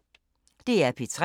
DR P3